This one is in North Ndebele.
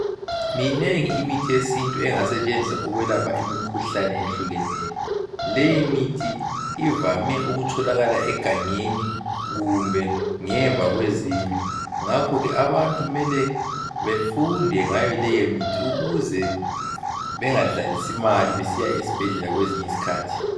Minengi imithi yesintu engasetshenziswa ukwelapha imikhuhlane ehlukeneyo. Leyi mithi ivame ukutholakala egangeni kumbe ngemva kwezindlu ngakho ke abantu kumele befunde ngayo leyimithi ukuze bengadlalisi imali besiya esibhedlela kwezinye izikhathi.